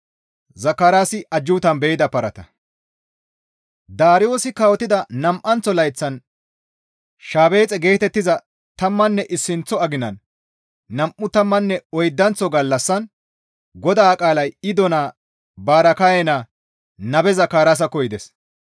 Daariyoosi kawotida nam7anththo layththan shebaaxe geetettiza tammanne issinththo aginan nam7u tammanne oydanththo gallassan GODAA qaalay Iddo naa Baraakaye naa Nabe Zakaraasakko yides.